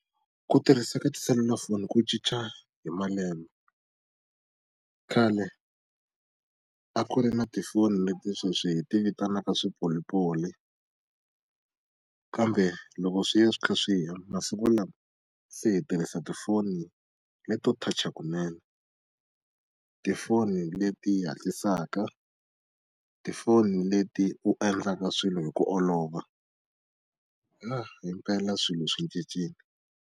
Ku tirhisa ka tiselulafoni ku cinca hi malembe. Khale a ku ri na tifoni leti sweswi hi ti vitanaka swipolipoli. Kambe loko swi ya swi kha swi ya masiku lama, se hi tirhisa tifoni leti to touch-a kunene. Tifoni leti hatlisaka, tifoni leti u endlaka swilo hi ku olova. Na himpela swilo swi cincile.